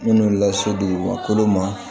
Minnu lase dugu ma